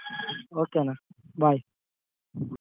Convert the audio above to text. Okay ಅಣ್ಣ bye.